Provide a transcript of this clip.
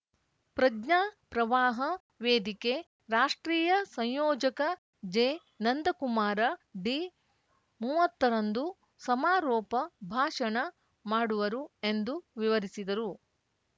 ಪ್ರಜ್ಞಾಪ್ರವಾಹ ವೇದಿಕೆ ರಾಷ್ಟ್ರೀಯ ಸಂಯೋಜಕ ಜೆನಂದಕುಮಾರ ಡಿಮೂವತ್ತರಂದು ಸಮಾರೋಪ ಭಾಷಣ ಮಾಡುವರು ಎಂದು ವಿವರಿಸಿದರು